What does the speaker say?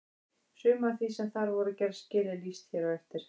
Sumu af því sem þar voru gerð skil er lýst hér á eftir.